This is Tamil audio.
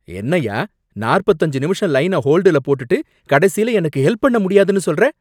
என்னய்யா?, நாற்பத்து அஞ்சு நிமிஷம் லைன ஹோல்டுல போட்டுட்டு கடைசியில எனக்கு ஹெல்ப் பண்ண முடியாதுன்னு சொல்ற